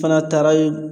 Fana taara ye